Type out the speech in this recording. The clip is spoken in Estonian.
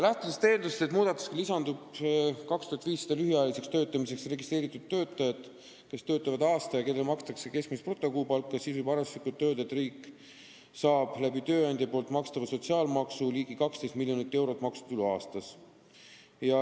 Lähtudes eeldusest, et lisandub näiteks 2500 lühiajaliseks töötamiseks registreeritud töötajat, kes töötavad aasta ja kellele makstakse keskmist brutokuupalka, võib arvestuslikult öelda, et riik saab tööandja makstava sotsiaalmaksu kaudu ligi 12 miljonit eurot maksutulu aastas.